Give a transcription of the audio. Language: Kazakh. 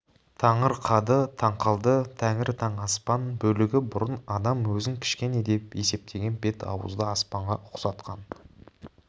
таңырқады таңқалды тәңір таң аспан бөлігі бұрын адам өзін кішкене деп есептеген бет-ауызды аспанға ұқсатқан